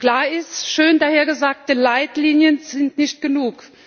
Klar ist Schön daher gesagte Leitlinien sind nicht genug.